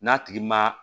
N'a tigi ma